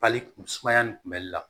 Pali kun sumaya nin kunbɛli la